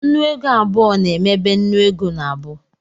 Nnu ego abụọ na-emebe nnu ego n'abu